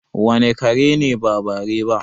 Wane kare ne ba bare ba?